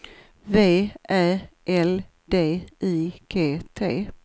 V Ä L D I G T